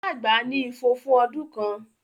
Ìyá àgbà ní ifo fún ọdún kan